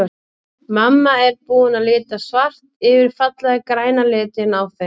Mamma er búin að lita svart yfir fallega græna litinn á þeim.